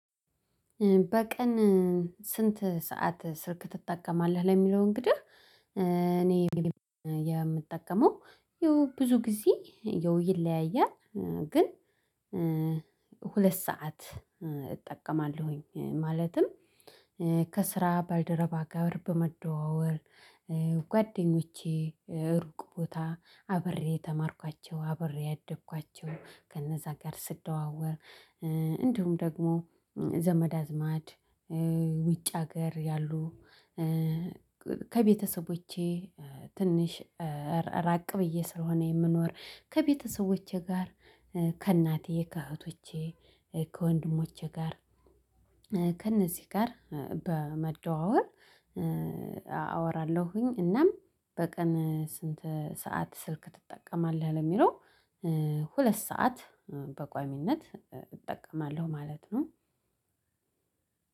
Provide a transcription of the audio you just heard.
በቀን ስንት ሰዓት ስልክ ትጠቀማለህ? ለሚለው እንግዲህ እኔ የምጠቀመው ያው ብዙ ጊዜ ይለያያል። ግን ሁለት ሰዓት እጠቀማለሁኝ ማለትም ከ ከስራ ባልደረባ ጋር በመደዋወል ጓደኞቼን ሩቅ ቦታ አብሬ የተማርኳቸው አብሬ ያደኳቸው ከነዛ ጋር ስደዋወል እንዲሁም ደግሞ ዘመድ አዝማድ ውጭ ሀገር ያሉ ከቤተሰቦቼ ትንሽ ራቅ ብዬ ስለሆነ የምኖረው ከቤተሰቦቼ ጋር ከእናቴ ከእህቶቼ ከወንድሞቼ ጋር ከእነዚህ ጋር በመደዋወል አወራለሁኝ። እናም በቀን ስንት ሰዓት ስልክ ትጠቀማለህ? ለሚለው ሁለት ሰዓት በቋሚነት እጠቀማለሁ ማለት ነው።